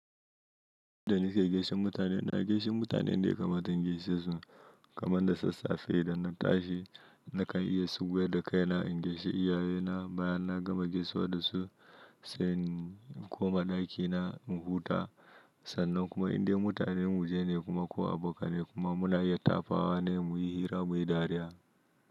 Da nike geshen mutane, na geshen mutanen yanda ya kamata in gaishe su kamar da sassafe idan na tashi, na kan iya sugwai da kai na in gaishe iyaye na bayan na gama gaisawa da su sai in koma ɗaki na in huta. Sannan kuma inda mutanen mu je ne kuma ko abu ka ne kuma muna yi ta fawa ne muyi hira muyi dariya.